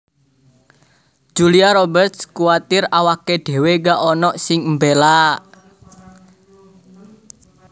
Julia Roberts kuwatir awake dhewe gak onok sing mbela